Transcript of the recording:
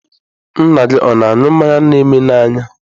Nna gị ọ̀ na-aṅụ mmanya na eme n'anya?